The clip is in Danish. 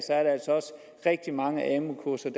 rigtig mange amu kurser